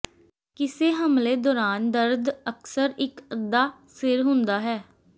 ਕਿਸੇ ਹਮਲੇ ਦੌਰਾਨ ਦਰਦ ਅਕਸਰ ਇੱਕ ਅੱਧਾ ਸਿਰ ਹੁੰਦਾ ਹੈ